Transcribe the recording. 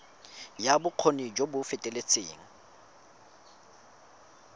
ya bokgoni jo bo feteletseng